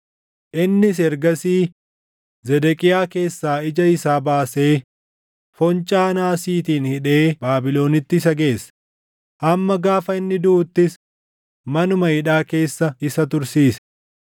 Innis ergasii Zedeqiyaa keessaa ija isaa baasee foncaa naasiitiin hidhee Baabilonitti isa geesse; hamma gaafa inni duʼuuttis manuma hidhaa keessa isa tursiise.